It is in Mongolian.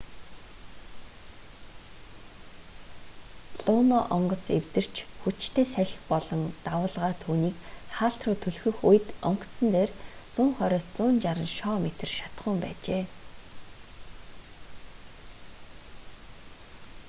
луно онгоц эвдэрч хүчтэй салхи болон давалгаа түүнийг хаалт руу түлхэх үед онгоцон дээр 120-160 шоо метр шатахуун байжээ